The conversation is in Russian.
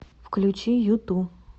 включи юту